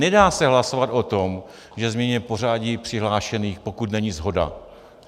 Nedá se hlasovat o tom, že změníme pořadí přihlášených, pokud není shoda.